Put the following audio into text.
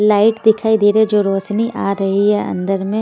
light दिखाई दे रहे जो रोशनी आ रही है अंदर में--